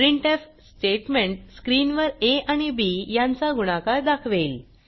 printf statement स्क्रीनवर आ आणि बी यांचा गुणाकार दाखवेल